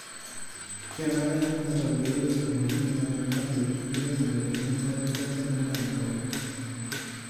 Kenare neitobiri ntumoritini naimaki enkiremore tenebo erripoto endaa nauno.